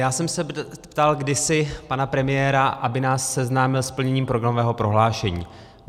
Já jsem se ptal kdysi pana premiéra, aby nás seznámil s plněním programového prohlášení.